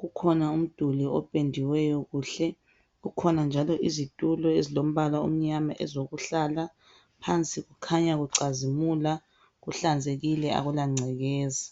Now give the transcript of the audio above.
kukhona umduli ophendiweyo kuhle, kukhona njalo izitulo ezilombala omnyana ezokuhlala. Phansi kukhanya kucazimula, kuhlanzekile akula ngcekeza.